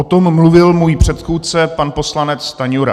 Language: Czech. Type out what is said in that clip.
O tom mluvil můj předchůdce pan poslanec Stanjura.